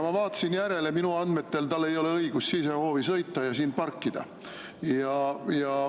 Ma vaatasin järele, minu andmetel ei ole tal õigust sisehoovi sõita ja siin parkida.